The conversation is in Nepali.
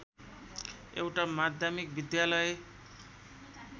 एउटा माध्यमिक विद्यालय